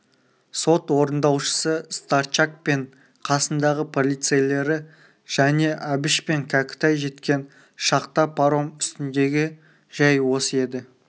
сот орындаушысы старчак пен қасындағы полицейлері және әбіш пен кәкітай жеткен шақта паром үстіндегі жай осы еді